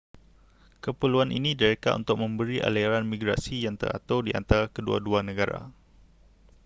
keperluan ini direka untuk memberi aliran migrasi yang teratur di antara kedua-dua negara